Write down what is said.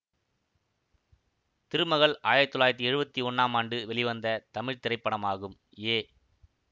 திருமகள் ஆயிரத்தி தொள்ளாயிரத்தி எழுவத்தி ஒன்றாம் ஆண்டு வெளிவந்த தமிழ் திரைப்படமாகும் ஏ